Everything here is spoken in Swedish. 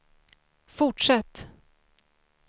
fortsätt